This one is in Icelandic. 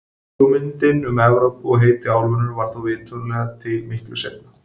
Hugmyndin um Evrópu og heiti álfunnar varð þó vitanlega til miklu seinna.